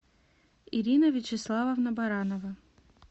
ирина вячеславовна баранова